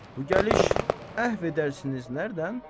Bu gəliş əhv edərsiniz nərədən?